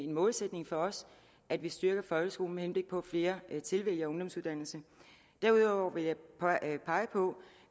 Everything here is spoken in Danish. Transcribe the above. målsætning for os at vi styrker folkeskolen med henblik på at flere tilvælger ungdomsuddannelse derudover vil jeg pege på